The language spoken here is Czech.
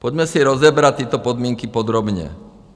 Pojďme si rozebrat tyto podmínky podrobně.